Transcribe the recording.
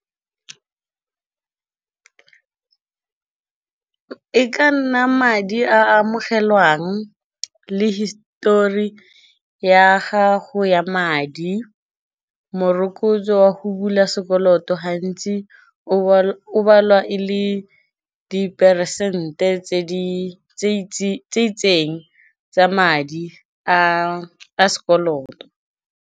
E ka nna madi a amogelwang le histori ya gago ya madi, morokotso wa go bula sekoloto gantsi o balwa e le diperesente tse itseng tsa madi a a sekoloto.